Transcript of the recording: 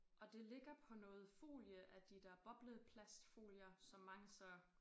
Og det ligger på noget folie af de der bobleplastfolier som mange så